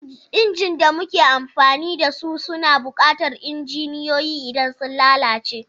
Injin da muke amfani da su suna buƙatar injiniyoyi idan sun lalace.